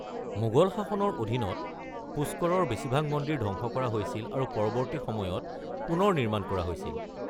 মোগল শাসনৰ অধীনত পুষ্কৰৰ বেছিভাগ মন্দিৰ ধ্বংস কৰা হৈছিল আৰু পৰৱৰ্তী সময়ত পুনৰ নিৰ্মাণ কৰা হৈছিল।